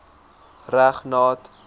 reg nat